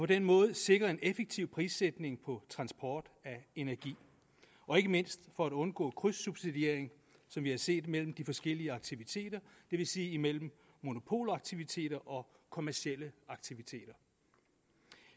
den måde sikre en effektiv prissætning på transport af energi og ikke mindst for at undgå krydssubsidiering som vi har set mellem de forskellige aktiviteter det vil sige imellem monopolaktiviteter og kommercielle aktiviteter